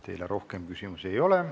Teile rohkem küsimusi ei ole.